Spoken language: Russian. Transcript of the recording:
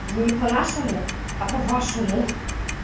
не по-нашему а по-вашему